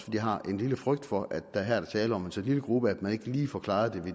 jeg har en lille frygt for at der her er tale om en så lille gruppe at man ikke lige får klaret